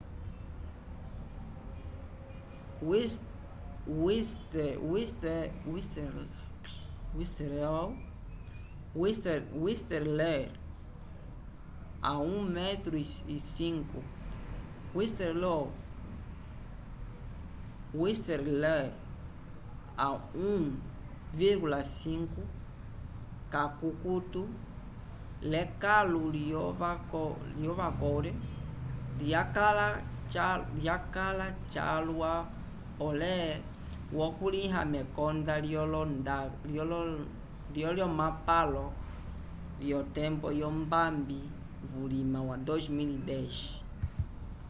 whistler a 1,5 kakutu l’ekãlu lyo vancouver lyakãla calwa pole wakulĩhiwa mekonda lyolomapalo vyotembo yombambi vulima wa 2010